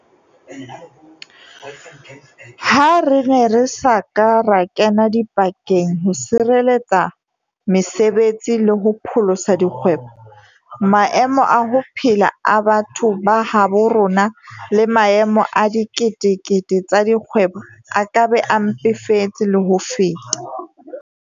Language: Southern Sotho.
Ha re ne re sa ka ra kena dipakeng ho sireletsa mese betsi le ho pholosa dikgwebo, maemo a ho phela a batho ba habo rona le maemo a dikete kete tsa dikgwebo a ka be a mpefetse le ho feta.